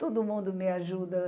Todo mundo me ajuda.